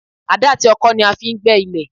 Àdá àti ọkọ́ ni a fi ń gbẹ́ ilẹ̀